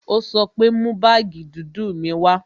Ó sọ pé "Mú baagi dúdú mi wá"